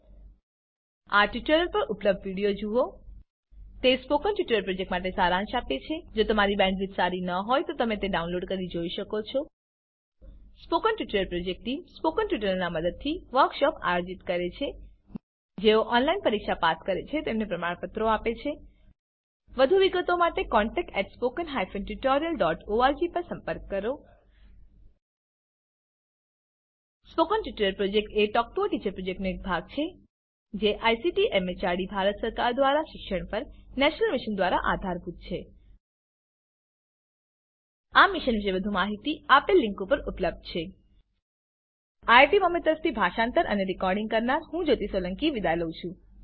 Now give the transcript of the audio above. આ યુઆરએલ પર ઉપલબ્ધ વિડીયો નિહાળો httpspoken tutorialorgWhat is a spoken tutorial તે સ્પોકન ટ્યુટોરીયલ પ્રોજેક્ટનો સારાંશ આપે છે જો તમારી બેન્ડવિડ્થ સારી ન હોય તો તમે ડાઉનલોડ કરી તે જોઈ શકો છો spoken tutorial project team spoken ટ્યુટોરીયલોનાં મદદથી વર્કશોપોનું આયોજન કરે છે જેઓ ઓનલાઈન પરીક્ષા પાસ કરે છે તેમને પ્રમાણપત્રો આપે છે વધુ વિગત માટે કૃપા કરી contactspoken tutorialorg પર સંપર્ક કરો સ્પોકન ટ્યુટોરીયલ પ્રોજેક્ટ એ ટોક ટુ અ ટીચર પ્રોજેક્ટનો એક ભાગ છે જે આઇસીટી એમએચઆરડી ભારત સરકાર દ્વારા શિક્ષણ પર નેશનલ મિશન દ્વારા આધારભૂત છે આ મિશન પર વધુ માહીતી httpspoken tutorialorgNMEICT Intro લીંક પર ઉપલબ્ધ છે iit બોમ્બે તરફથી સ્પોકન ટ્યુટોરીયલ પ્રોજેક્ટ માટે ભાષાંતર કરનાર હું જ્યોતી સોલંકી વિદાય લઉં છું